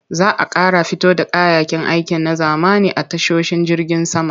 Za a ƙara fito da kayayyakin aiki na zamani a tashoshin jirgin sama.